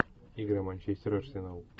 игра манчестер арсенал